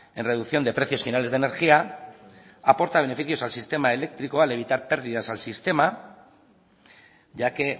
en reducción de precios finales de energía aporta beneficios al sistema eléctrico al evitar pérdidas al sistema ya que